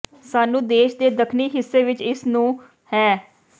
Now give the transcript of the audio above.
ਸਾਨੂੰ ਦੇਸ਼ ਦੇ ਦੱਖਣੀ ਹਿੱਸੇ ਵਿੱਚ ਇਸ ਨੂੰ ਹੈ